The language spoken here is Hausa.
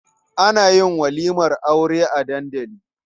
Ana yin walimar Aure a dandali.